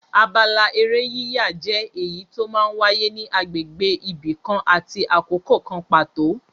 Abala eré yíyà jẹ́ èyí tó máa ń wáyé ní agbègbè ibi kan àti àkókò kan pàtó.